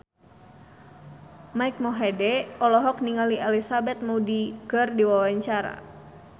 Mike Mohede olohok ningali Elizabeth Moody keur diwawancara